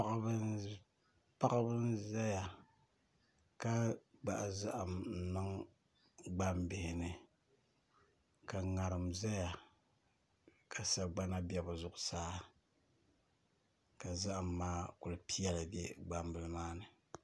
Paɣaba n ʒɛya ka gbahi zaham n niŋ gbambili ni ka ŋarim ʒɛya ka sagbana bɛ bi zuɣusaa ka zaham maa ku piɛli bɛ gbambili maa ni